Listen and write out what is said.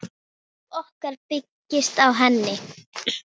Líf okkar byggist á henni.